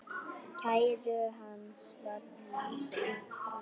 Kæru hans var vísað frá.